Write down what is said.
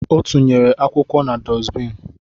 Ọ tụnyere akwụkwọ na dusbin